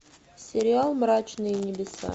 сериал мрачные небеса